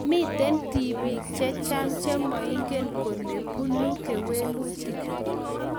"Miten tibiik che chang chemoingen kole buune kewelutik."